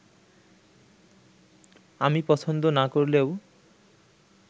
আমি পছন্দ না করলেও